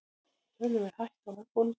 Töluverð hætta á verðbólgu